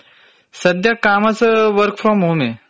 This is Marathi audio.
सध्या कामच वर्क फ्रोम होमे.